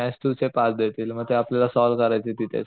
Maths two चे पाच देतील मग ते आपल्याला सॉल्व्ह करायचे तिथेच.